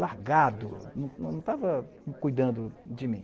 largado, não estava cuidando de mim.